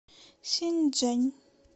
синьчжэн